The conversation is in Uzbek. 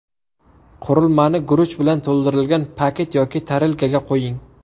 Qurilmani guruch bilan to‘ldirilgan paket yoki tarelkaga qo‘ying.